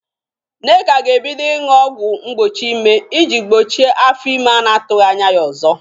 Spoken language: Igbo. Nneka ga-ebido ịñụ ọgwụ mgbochi ịme ị jị gboche afọ ime a na-atụghị anya ya ọzọ